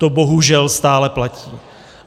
To bohužel stále platí.